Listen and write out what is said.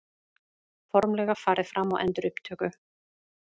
Formlega farið fram á endurupptöku